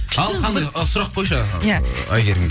ал қандай ы сұрақ қойшы иә ыыы әйгерімге